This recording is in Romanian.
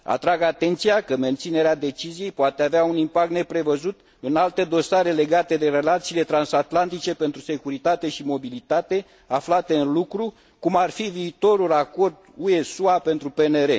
Atrag atenția că menținerea deciziei poate avea un impact neprevăzut în alte dosare legate de relațiile transatlantice pentru securitate și mobilitate aflate în lucru, cum ar fi viitorul acord UE SUA pentru PNR.